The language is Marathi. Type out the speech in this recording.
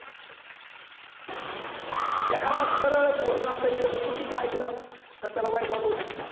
एखादा सरळ बोलला तरी त्याच चुकीच ऐकल तर त्याला वाईट वाटू शकत.